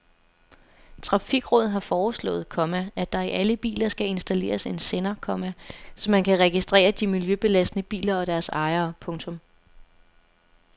Trafikrådet har foreslået, komma at der i alle biler skal installeres en sender, komma så man kan registrere de miljøbelastende biler og deres ejere. punktum